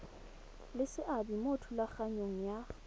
le seabe mo thulaganyong ya